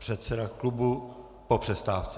Předseda klubu po přestávce.